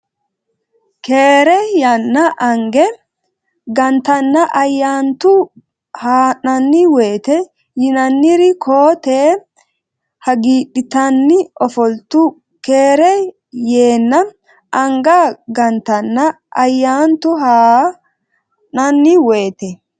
Keere yeenna anga gantanna Ayyaantu haa nanni woyte yinanniri koo tee hagiidhitanni ofoltu Keere yeenna anga gantanna Ayyaantu haa nanni woyte.